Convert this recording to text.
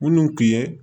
Minnu tun ye